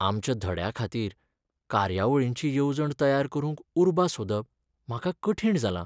आमच्या धड्याखातीर कार्यावळींची येवजण तयार करूंक उर्बा सोदप म्हाका कठीण जालां.